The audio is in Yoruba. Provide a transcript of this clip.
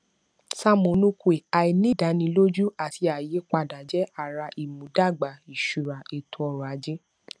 sam onukwe àìnídánilójú àti àyípadà jẹ ara ìmúdàgbà ìṣúra ètòọrọajé